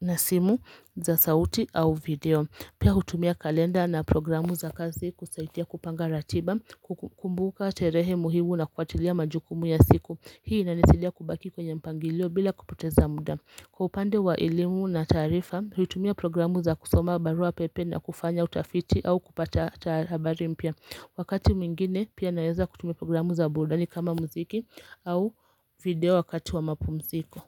na simu za sauti au video. Pia hutumia kalenda na programu za kazi kusaidia kupanga ratiba, kukumbuka terehe muhimu na kuachlia majukumu ya siku. Hii inanisidia kubaki kwenye mpangilio bila kupoteza muda. Kwaupande wa ilimu na tarifa, ritumia programu za kusoma barua pepe na kufanya utafiti au kupata tabari mpya. Wakati mingine, pia naeza kutumia programu za burudani kama mziki au video wakati wa mapu mziko.